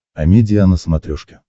амедиа на смотрешке